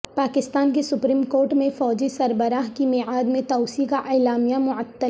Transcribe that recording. پاکستان کی supreme court میں فوجی سربراہ کی میعاد میں توسیع کا اعلامیہ معطل